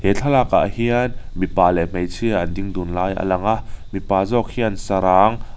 thlalak ah hian mipa leh hmeichhia an ding dun lai a lang a mipa zawk hian sarang--